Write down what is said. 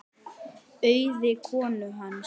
Auði konu hans.